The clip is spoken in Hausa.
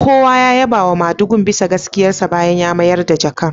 Kowa ya yaba wa madugun bisa gaskiyarsa bayan ya mayar da jakar